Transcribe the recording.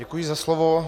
Děkuji za slovo.